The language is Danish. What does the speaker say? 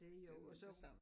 Det jo det samme